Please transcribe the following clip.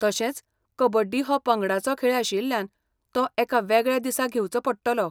तशेंच, कबड्डी हो पंगडाचो खेळ आशिल्ल्यान, तो एका वेगळ्या दिसा घेवचो पडटलो.